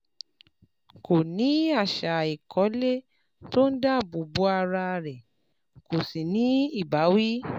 Kó o ní àṣà ìkọ́lé tó ń dáàbò bo ara rẹ kó o sì ní ìbáwí